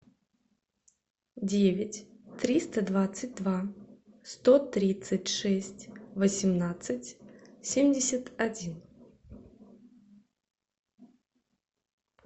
девять триста двадцать два сто тридцать шесть восемнадцать семьдесят один